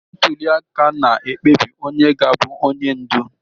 Ntuli aka na-ekpebi onye ga-abụ onye ndu